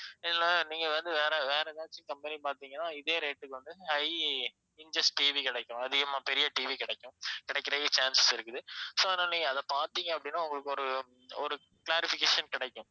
இல்லனா நீங்க வந்து வேற வேற ஏதாச்சும் company பார்த்தீங்கன்னா இதே rate க்கு வந்து high inches TV கிடைக்கும் அதிகமா பெரிய TV கிடைக்கும் கிடைக்குறதுக்கு chances இருக்குது so அதனால நீங்க அத பார்த்தீங்க அப்படின்னா உங்களுக்கு ஒரு ஒரு clarification கிடைக்கும்